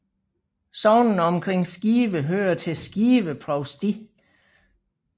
Sognene omkring Skive hører til Skive Provsti